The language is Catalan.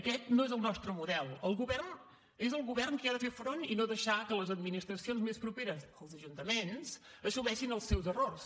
aquest no és el nostre model és el govern qui ha de fer front i no deixar que les administracions més properes els ajuntaments assumeixin els seus errors